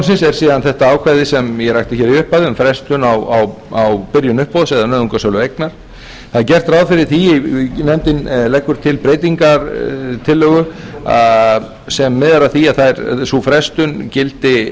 síðan þetta ákvæði sem ég rakti hér í upphafi um frestun á byrjun uppboðs eða nauðungarsölu eigna það er gert ráð fyrir því eða nefndin leggur til breytingartillögu sem miðar að því að sú frestun gildi